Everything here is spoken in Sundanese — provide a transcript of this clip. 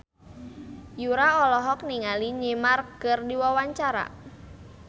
Yura olohok ningali Neymar keur diwawancara